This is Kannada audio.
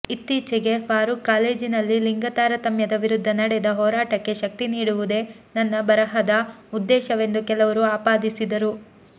ಇತ್ತೀಚೆಗೆ ಫಾರೂಕ್ ಕಾಲೇಜಿನಲ್ಲಿ ಲಿಂಗ ತಾರತಮ್ಯದ ವಿರುದ್ಧ ನಡೆದ ಹೋರಾಟಕ್ಕೆ ಶಕ್ತಿ ನೀಡುವುದೇ ನನ್ನ ಬರಹದ ಉದ್ದೇಶವೆಂದು ಕೆಲವರು ಆಪಾದಿಸಿದರು